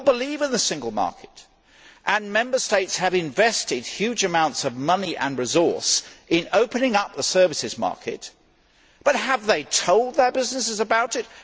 We all believe in the single market and Member States have invested huge amounts of money and resources in opening up the services market, but have they told their businesses about it?